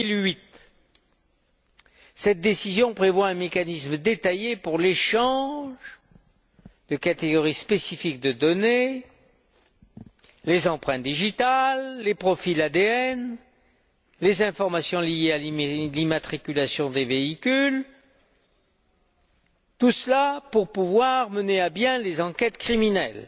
2008. Cette décision prévoit un mécanisme détaillé pour l'échange de catégories spécifiques de données les empreintes digitales, les profils ADN, les informations liées à l'immatriculation des véhicules, tout cela pour pouvoir mener à bien les enquêtes criminelles.